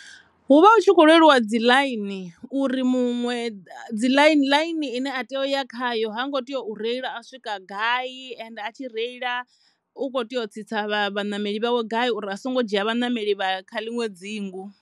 Hu vha hu tshi khou lweliwa dzi ḽaini uri muṅwe ḽaini ine a tea u ya khayo ha ngo tea u reila a swika gai ende a tshi reila u kho tea u tsitsa vhanameli vhawe gai uri a songo dzhia vhanameli vha kha ḽiṅwe dzingu.